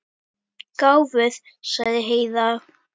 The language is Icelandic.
Gáfuð, sagði Heiða.